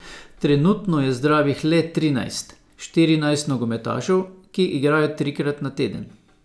Trenutno je zdravih le trinajst, štirinajst nogometašev, ki igrajo trikrat na teden.